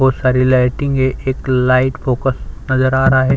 बहुत सारी लाइटिंग है एक लाइट फोकस नज़र आ रहा है।